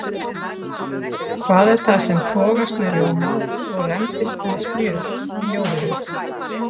Hver er það sem togast með rjóma og rembist með smjör í ljóðinu?